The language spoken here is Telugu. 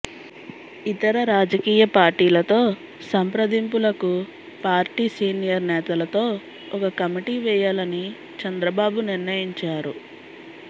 ఇతర రాజకీయ పార్టీలతో సంప్రదింపులకు పార్టీ సీనియర్ నేతలతో ఒక కమిటీ వేయాలని చంద్రబాబు నిర్ణయించారు